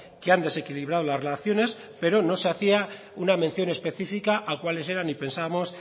que han desequilibrado las relaciones pero no se hacía una mención específica a cuáles eran y pensábamos